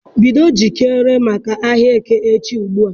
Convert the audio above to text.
Bido njikere maka ahịa Eke echi ùgbúà.